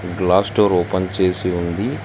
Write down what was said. Glass door open చేసి ఉంది.